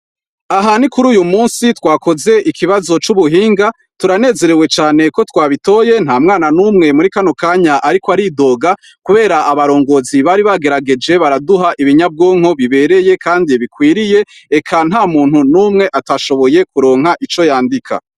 Aha ni kuri uyu musi twakoze ikibazo c'ubuhinga turanezerewe cane ko twabitoye nta mwana n'umwe muri kanokanya, ariko aridoga, kubera abarongozi bari bagerageje baraduha ibinyabwonko bibereye, kandi bikwiriye eka nta muntu n'umwe atashoboye kuronka ico yandika.